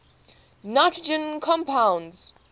nitrogen compounds